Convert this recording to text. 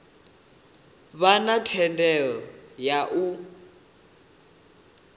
vha na thendelo ya u